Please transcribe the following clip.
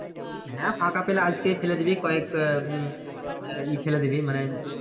হ্যাঁ ফাঁকা পেলে আজকেই ফেলে দিবি কয়েক হম আহ ইয়ে ফেলে দিবি মানে,